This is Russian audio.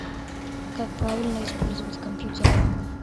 как правильно использовать компьютер